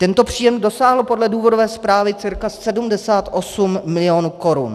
Tento příjem dosáhl podle důvodové zprávy cca 78 milionů korun.